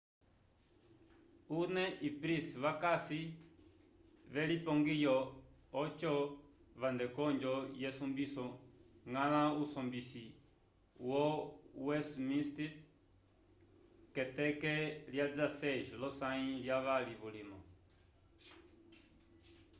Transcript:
huhne e pryce vakasi velipongiyo ojo vande konjo yesumbiso ñgala usombisi wo westminster k’eteke lya 16 lyosãyi lyavali vulima.